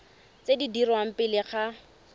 tse di dirwang pele ga